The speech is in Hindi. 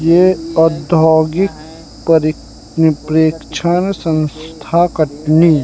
ये औधौगिक परि प्रेक्षण संस्था कटनी--